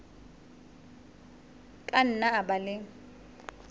ka nna a ba le